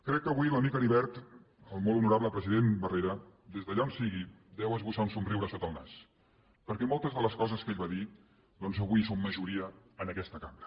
crec que avui l’amic heribert el molt honorable president barrera des d’allà on sigui deu esbossar un somriure sota el nas perquè moltes de les coses que ell va dir doncs avui són majoria en aquesta cambra